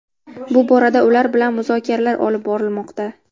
Bu borada ular bilan muzokaralar olib borilmoqda.